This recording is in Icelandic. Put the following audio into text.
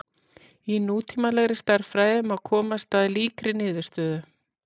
í nútímalegri stærðfræði má komast að líkri niðurstöðu